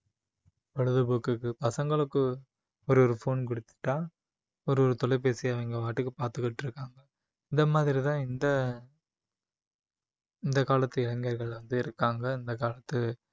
பொழுதுபோக்குக்கு பசங்களுக்கு ஒரு ஒரு phone கொடுத்துட்டா ஒரு ஒரு தொலைபேசி அவங்க பாட்டுக்கு பார்த்துக்கிட்டு இருக்காங்க இந்த மாதிரிதான் இந்த இந்த காலத்து இளைஞர்கள் வந்து இருக்காங்க இந்த காலத்து